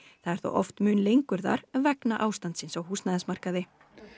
það er þó oft mun lengur þar vegna ástands á húsnæðismarkaði